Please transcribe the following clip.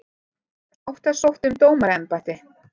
Átta sóttu um dómaraembætti